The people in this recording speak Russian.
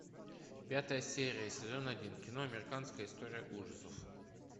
пятая серия сезон один кино американская история ужасов